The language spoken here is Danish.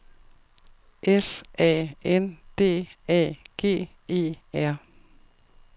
S A N D A G E R